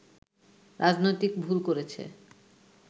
রাজনৈতিক ভুল করেছে